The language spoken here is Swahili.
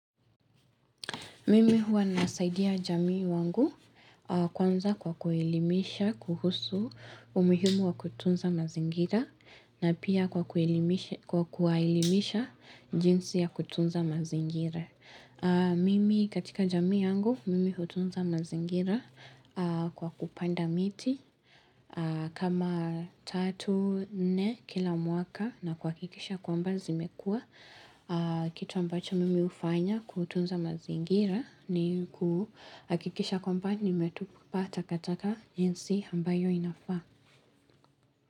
Mimi huwa nasaidia jamii wangu kwanza kwa kuilimisha kuhusu umihimu wa kutunza mazingira na pia kwa kuwaelimisha jinsi ya kutunza mazingira. Mimi katika jamii yangu, mimi hutunza mazingira kwa kupanda miti kama tatu, nne kila mwaka na kwa kikisha kwamba zimekua. Kitu ambacho mimi ufanya kutunza mazingira ni kuhakikisha kwamba nimetupa takataka jinsi ambayo inafaa.